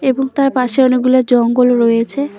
এবং তার পাশে অনেকগুলো জঙ্গল রয়েছে।